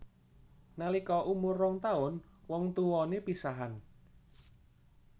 Nalika umur rong taun wong tuwané pisahan